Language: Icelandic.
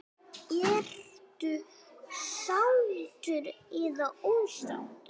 Ertu sáttur eða ósáttur?